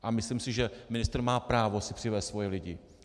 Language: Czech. A myslím si, že ministr má právo si přivést svoje lidi.